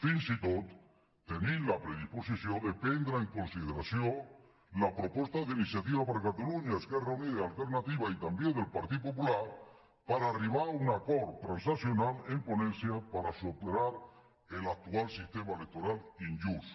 fins i tot tenim la predisposició de prendre en consideració la proposta d’iniciativa per catalunya esquerra unida i alternativa i també del partit popular per arribar a un acord transaccional en ponència per superar l’actual sistema electoral injust